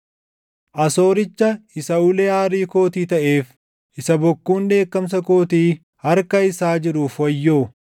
“Asooricha isa ulee aarii kootii taʼeef, isa bokkuun dheekkamsa kootii harka isaa jiruuf wayyoo!